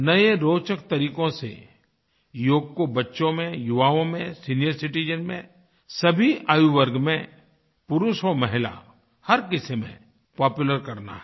नए रोचक तरीक़ों से योग को बच्चों में युवाओं में सीनियर citizensमें सभी आयुवर्ग में पुरुष होया महिला हर किसी में पॉपुलर करना है